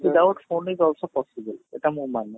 doubt phone is also possible ସେଇଟା ମୁଁ ମାନେ